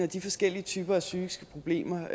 de forskellige typer af psykiske problemer